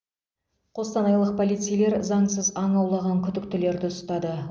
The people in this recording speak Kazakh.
қостанайлық полицейлер заңсыз аң аулаған күдіктілерді ұстады